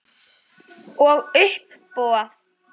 Og á uppboð.